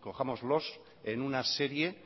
cojámoslos en una serie